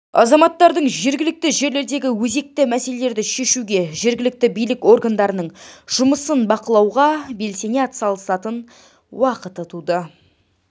азаматтардың жергілікті жерлердегі өзекті мәселелерді шешуге жергілікті билік органдарының жұмысын бақылауға белсене араласатын уақыты туды